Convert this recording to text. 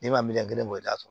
Ne ma miliyɔn kelen bɔ i t'a sɔrɔ